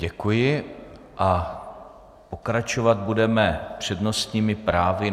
Děkuji a pokračovat budeme přednostními právy.